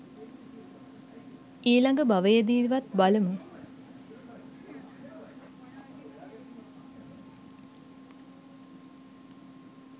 ඊලඟ භවයෙදිවත් බලමු